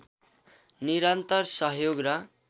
निरन्तर सहयोग र